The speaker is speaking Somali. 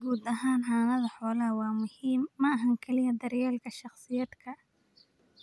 Guud ahaan, xanaanada xoolaha waa muhiim. ma aha oo kaliya daryeelka shakhsiyaadka.